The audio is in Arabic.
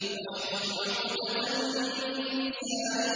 وَاحْلُلْ عُقْدَةً مِّن لِّسَانِي